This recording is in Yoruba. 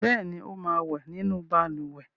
Bẹ́ẹ̀ ni, ó máa wẹ̀ nínú balùwẹ̀.